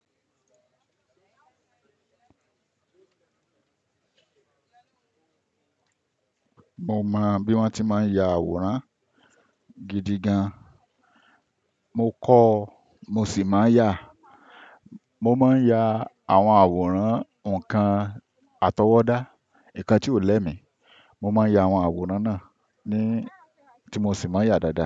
Mo mọ bí wọ́n ti máa ń ya àwòrán gidi gan. Mo kọ́, mo sì máa ń yà. Mo máa ń ya àwọn àwòrán nǹkan àtọwọ́dá, nǹkan tí ò lẹ́mi, mo máa ń ya àwọn àwòrán náà ni tí mo sì máa ń yà dáadáa.